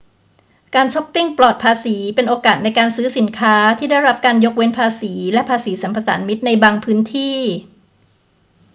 การชอปปิงปลอดภาษีเป็นโอกาสในการซื้อสินค้าที่ได้รับการยกเว้นภาษีและภาษีสรรพสามิตในบางพื้นที่